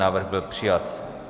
Návrh byl přijat.